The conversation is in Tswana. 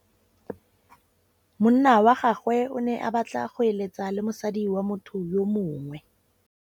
Monna wa gagwe o ne a batla go êlêtsa le mosadi wa motho yo mongwe.